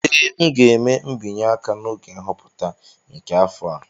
Ee, m ga-eme mbinye aka n'oge nhọpụta nke afọ a